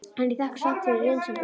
En ég þakka samt fyrir vinsemdina.